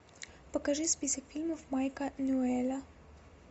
покажи список фильмов майка ньюэлла